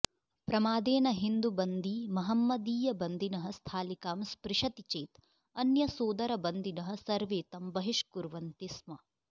प्रमादेन हिन्दुबन्दी महम्मदीयबन्दिनः स्थालिकां स्पृशति चेत् अन्यसोदरबन्दिनः सर्वे तं बहिष्कुर्वन्ति स्म